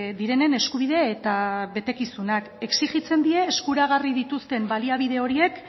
direnen eskubide eta betekizunak exijitzen die eskuragarri dituzten baliabide horiek